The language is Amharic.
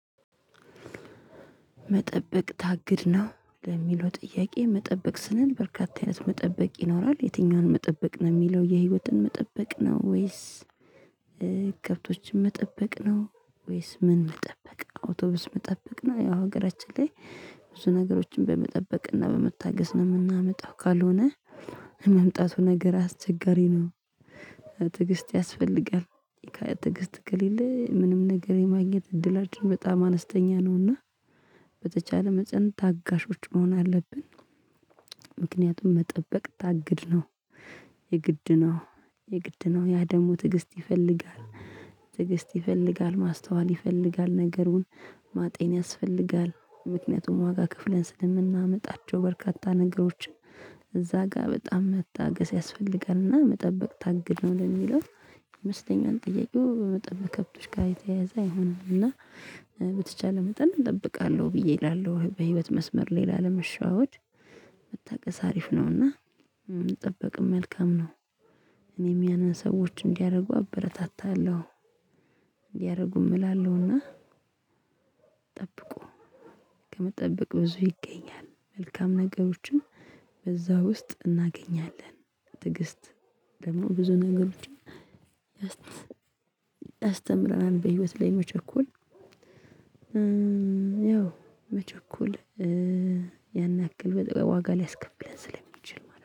መጠበቅ ታግድ ነው ለሚለው ጥያቄ መጠበቅ ስንል በርካታ አይነት መጠበቅ ይኖራል የትኛውን መጠበቅ ነው የሚለው የህይወትን መጠበቅ ነው ወይስ ከብቶችን መጠበቅ ነው? ወይስ ምን መጠበቅ አውቶቡስ መጠበቅ ነው ያው ሀገራችን ላይ ብዙ ነገሮችን በመጠበቅ በመታገስ ነው የምናመጣው ካልሆነ መምጣቱ ነገር አስቸጋሪ ነው። ትግስት ያስፈልጋል። ትግስት ከሌለ ምንም ነገር የማግኘት እድላችን በጣም አነስተኛ ነውና በተቻለ መጠን ታጋሾች መሆን አለብን። ምክንያቱም መጠበቅ ታግድ ነው። የግድ ነው የግድ ነው ያ ደግሞ ትዕግስት ይፈልጋል። ትዕግስት ይፈልጋል ማስተዋል ይፈልጋል ነገሩን ማጤን ያስፈልጋል ምክንያቱም ዋጋ ክፍለን ስለምናመጣቸው በርካታ ነገሮችን። እዛ ጋር በጣም መታገስ ያስፈልጋልና መጠበቅ ታግድ ነው ለሚለው። መስተኛውን ጥያቄው በመጠን በከብቶች ጋር የተያያዘ አይሆንም እና። በተቻለ መጠን እጠብቃለሁ ብዬ እላለሁ በህይወት መስመር ላይ ለ ለመሸወድ መታገስ አሪፍ ነውና። መጠበቅም መልካም ነው። እኔም ያንን ሰዎች እንዲያደርጉ አበረታታለሁ። እንዲያደርጉም እላለሁና። ጠብቁ። ከመጠበቅ ብዙ ይገኛል መልካም ነገሮችን በዛ ውስጥ እናገኛለን። ትግስት ደግሞ ብዙ ነገሮችን ታስተምረናለች። በህይወት ላይ መቸኮል ያው መቸኮል ያን ያክል ዋጋ ሊያስከፍለን ስለሚችል ማለት ነው